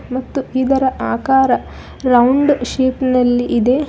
ಮತ್ತು ಇದರ ಆಕಾರ ರೌಂಡ್ ಶೇಪ್ ನಲ್ಲಿ ಇದೆ.